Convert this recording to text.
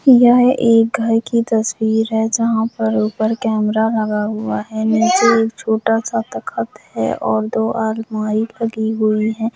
यह एक घर की तस्वीर है जहां पर ऊपर कैमरा लगा हुआ है निचे एक छोटा सा तखत हैऔर दो अलमारी लगी हुई है।